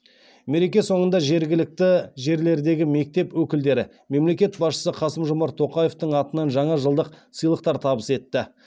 мереке соңында жергілікті жерлердегі мектеп өкілдері мемлекет басшысы қасым жомарт тоқаевтың атынан жаңа жылдық сыйлықтар табыс етті